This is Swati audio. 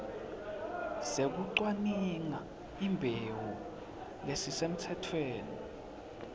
sekucwaninga imbewu lesisemtsetfweni